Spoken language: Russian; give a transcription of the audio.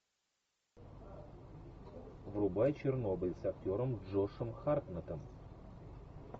врубай чернобыль с актером джошем хартнеттом